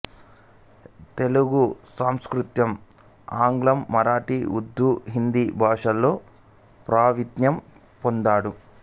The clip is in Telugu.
తెలుగు సంస్కృతం ఆంగ్లం మరాఠి ఉర్దూ హిందీ భాషలలో ప్రావీణ్యం పొందాడు